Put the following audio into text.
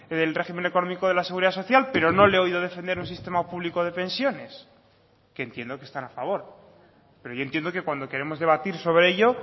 del régimen económico de la seguridad social pero no le he oído defender un sistema público de pensiones que entiendo que están a favor pero yo entiendo que cuando queremos debatir sobre ello